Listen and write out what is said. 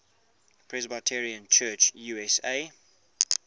presbyterian church usa